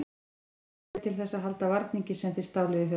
Hvaða leyfi hafið þið til þess að halda varningnum sem þið stáluð í fyrra?